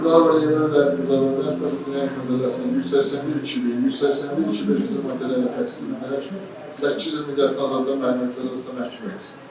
Zülfüqarova Leyla Vilayət qızı cinayət məcəlləsinin 181.2.1, 181.2.5-ci maddələri ilə təqsirləndirilərək, 8 il müddətinə azadlıqdan məhrumetmə cəzasına məhkum edilsin.